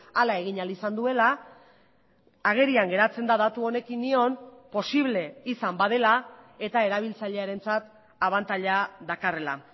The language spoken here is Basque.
hala egin ahal izan duela agerian geratzen da datu honekin nion posible izan badela eta erabiltzailearentzat abantaila dakarrela